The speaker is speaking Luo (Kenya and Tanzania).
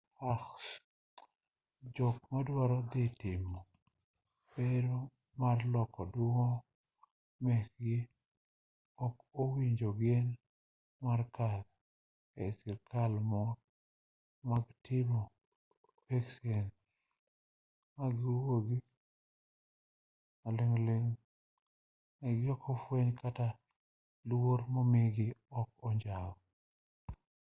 jok madwaro dhi timo bero mar loko duong' mekgi ok owinjo ogen mar kadho ei skana mag timo peksen ma giwuogi ka maling'ling' mekgi ok ofweny kata luor momigi ok onjaw